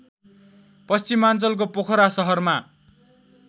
पश्चिमाञ्चलको पोखरा सहरमा